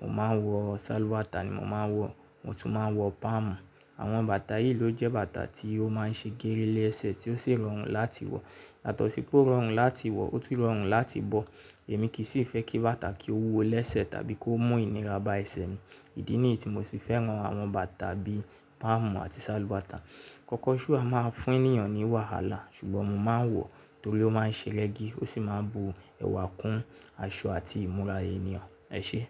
mo máa ń wọ sálúbàtà ni mo máa ń wọ̀, mo tún máa ń wọ páàmù. Àwọn bàtà yìí ló jẹ́ bàtà tí ó máa ń ṣe gére lẹ́sẹ̀ tí ó sì rọrùn láti wọ̀. Làtàó sì pé ó rọrùn láti wọ̀, ó tún rọrùn láti bọ̀. Èmi kì í sì fẹ́ kí bàtà kí ó wúwo lẹ́sẹ̀ tàbí kó mú ìnira ba ẹsẹ̀ mi. Ìdí nìyí tí mo sì fẹ́ràn àwọn bàtà bíi páàmù àti sálúbàtà. Kòkóṣù a máa ń fún èèyàn ní wàhálà, ṣùgbọ́n mo máa ń wọ̀ torí ó máa ń ṣe régi ó sì máa ń bu ẹwà kún aṣọ àti ìmúra èèyàn. Ẹ ṣé?